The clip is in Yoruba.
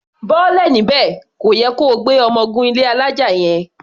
Bọ́lẹ̀ níbẹ̀! Kò yẹ ko gbé ọmọ gun ilé alája yẹn.